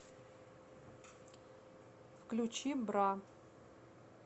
включи бра